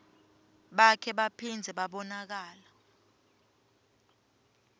bakhe baphindze babonakala